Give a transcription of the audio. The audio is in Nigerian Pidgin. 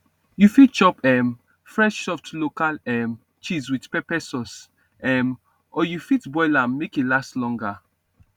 you fit chop um fresh soft local um cheese with pepper sauce um or you fit boil am make e last longer